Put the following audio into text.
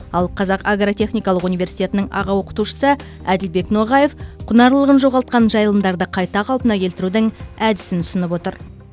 ал қазақ агротехникалық университетінің аға оқытушысы әділбек ноғаев құнарлылығын жоғалтқан жайылымдарды қайта қалпына келтірудің әдісін ұсынып отыр